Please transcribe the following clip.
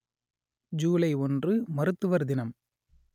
ஜூலை ஒன்று மருத்துவர் தினம்